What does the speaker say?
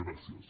gràcies